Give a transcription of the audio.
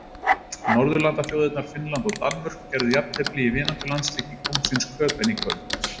Norðurlandaþjóðirnar Finnland og Danmörk gerðu jafntefli í vináttulandsleik í Kóngsins Köben í kvöld.